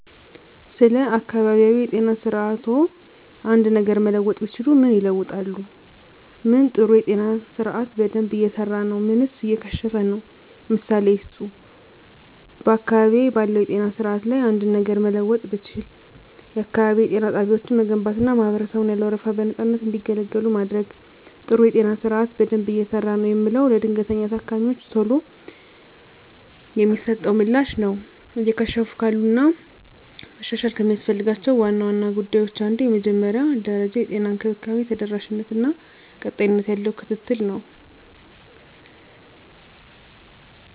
ስለ አካባቢያዊ የጤና ስርዓትዎ አንድ ነገር መለወጥ ቢችሉ ምን ይለውጣሉ? ምን ጥሩ የጤና ስርአት በደንብ እየሰራ ነው ምንስ እየከሸፈ ነው? ምሳሌ ይስጡ። *በአካባቢዬ ባለው የጤና ስርዓት ላይ አንድ ነገር ለመለወጥ ብችል፣ *የአካባቢ ጤና ጣቢያዎችን መገንባትና ማህበረሰቡን ያለ ወረፋ በነፃነት እንዲገለገሉ ማድረግ። *ጥሩ የጤና ስርዓት በደንብ እየሰራ ነው የምለው፦ ለድንገተኛ ታካሚወች ቶሎ የሚሰጠው ምላሽ ነው። *እየከሸፉ ካሉት እና መሻሻል ከሚያስፈልጋቸው ዋና ዋና ጉዳዮች አንዱ የመጀመሪያ ደረጃ የጤና እንክብካቤ ተደራሽነት እና ቀጣይነት ያለው ክትትል ነው።